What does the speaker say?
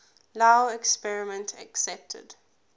lao government accepted